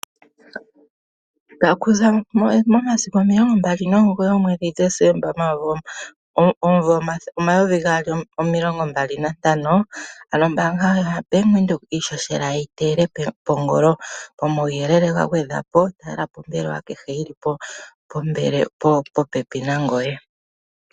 Okuza momasiku omilongo mbali nomugoyi omwedhi Desemba Omumvo omayovi gaali nomilongo mbali nantano, ano ombaanga yaVenduka iishoshela oyeyi teyele kongolo. komawuyelele ga gwedhwapo talelapo ombaanga kehe yili popepi nangoye.